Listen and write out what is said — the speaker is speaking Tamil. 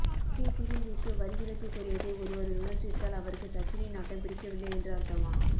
சச்சின் சீருந்திற்கு வரிவிலக்கு கோரியதை ஒருவர் விமர்சித்தால் அவருக்கு சச்சினின் ஆட்டம் பிடிக்க வில்லை என்று அர்த்தமா